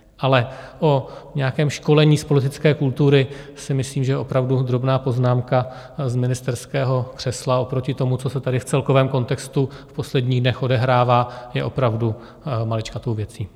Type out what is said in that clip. Ale o nějakém školení z politické kultury si myslím, že opravdu drobná poznámka z ministerského křesla oproti tomu, co se tady v celkovém kontextu v posledních dnech odehrává, je opravdu maličkatou věcí.